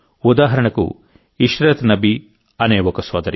ఉదాహరణకు ఇష్రత్ నబీ అనే ఒక సోదరి